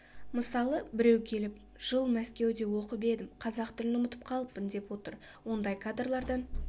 мысалы біреу келіп жыл мәскеуде оқып едім қазақ тілін ұмытып қалыппын деп отыр ондай кадрлардан